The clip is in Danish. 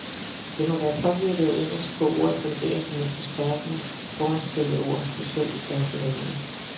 Det må være påvirket af engelsk, hvor ordet fungerer som et forstærkende foranstillet ord, specielt i faste vendinger.